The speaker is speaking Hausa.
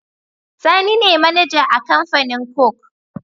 Sani ne mAnager a Kamfanin coke